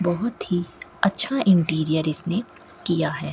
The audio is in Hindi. बहोत ही अच्छा इंटीरियर इसने किया है।